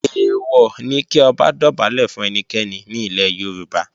Èèwọ̀ ni kí Ọba dọ̀bálẹ̀ fún ẹnikẹ́ni ní ilẹ̀ Yorùbá